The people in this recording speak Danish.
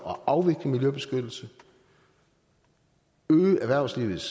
at afvikle miljøbeskyttelse øge erhvervslivets